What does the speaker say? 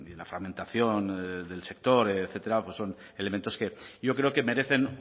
la fragmentación del sector etcétera pues son elementos que yo creo que merecen